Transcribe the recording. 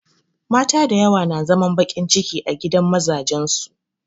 Mata dayawa na zaman baƙin ciki a gidan mazajen su